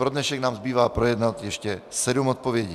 Pro dnešek nám zbývá projednat ještě sedm odpovědí.